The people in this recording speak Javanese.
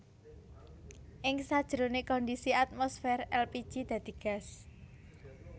Ing sajroné kondisi atmosfer èlpiji dadi gas